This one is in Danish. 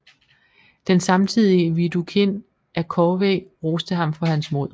Den samtidige Widukind af Corvey roste ham for hans mod